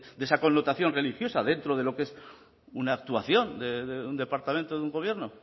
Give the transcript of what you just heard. de esa connotación religiosa dentro de lo que es una actuación de un departamento de un gobierno